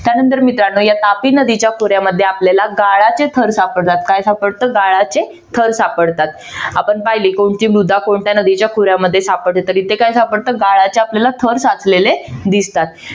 त्यानंतर मित्रानो या तापी नदीच्या खोऱ्यामध्ये आपल्याला गाळाचे थर सापडतात. काय सापडत? गाळाचे थर आपण पाहिले कोणती मृदा कोणत्या नदीच्या खोऱ्यामध्ये सापडते तर तिथे काय सापडत गाळाचे आपल्याला थर साचलेले दिसतात.